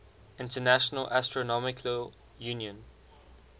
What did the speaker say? international astronomical union